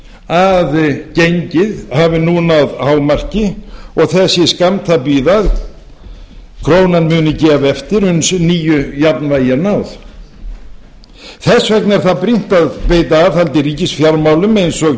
að gengið hafi nú náð hámarki og þess sé skammt að bíða að krónan muni gefa eftir uns nýju jafnvægi er náð þess vegna er það brýnt að veita aðhald í ríkisfjármálum eins og